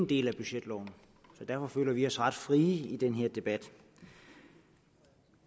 del af budgetloven så derfor føler vi os ret frie i den her debat